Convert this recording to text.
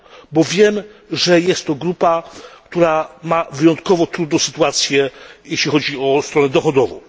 bo wiem, że jest to grupa, która ma wyjątkowo trudną sytuację, jeśli chodzi o stronę dochodową.